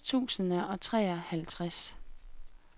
halvfjerds tusind og treoghalvtreds